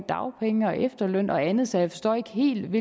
dagpenge og efterløn og andet så jeg forstår ikke helt